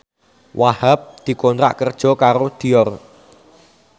Wahhab dikontrak kerja karo Dior